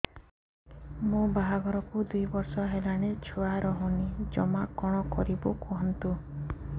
ମୋ ବାହାଘରକୁ ଦୁଇ ବର୍ଷ ହେଲାଣି ଛୁଆ ରହୁନି ଜମା କଣ କରିବୁ କୁହନ୍ତୁ